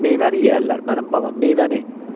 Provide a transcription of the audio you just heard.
Meyvəni yeyərlər, mənim balam, meyvəni.